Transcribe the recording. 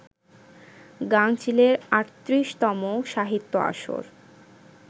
গাঙচিলের ৩৮তম সাহিত্য আসর